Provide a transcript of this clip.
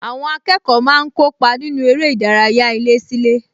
Àwọn akẹ́kọ̀ọ́ máa ń kópa nínú eré ìdárayá ilésílé